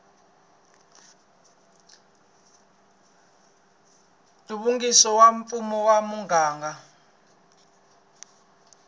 nhluvukiso wa mfumo wa muganga